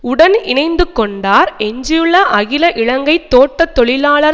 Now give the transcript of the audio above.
உடன் இணைந்துகொண்டார் எஞ்சியுள்ள அகில இலங்கை தோட்ட தொழிலாளர்